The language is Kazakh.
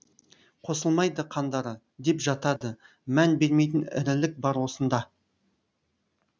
қосылмайды қандары деп жатады мән бермейтін ірілік бар осында